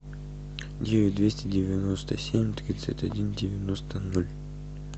девять двести девяносто семь тридцать один девяносто ноль